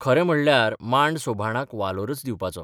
खरें म्हणल्यार मांड सोभाणाक वालोरच दिवपाचो.